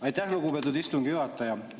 Aitäh, lugupeetud istungi juhataja!